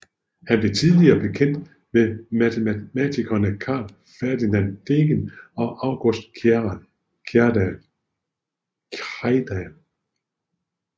Han blev tidlig bekendt med matematikerne Carl Ferdinand Degen og Augustus Krejdal